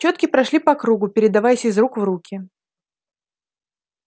чётки прошли по кругу передаваясь из рук в руки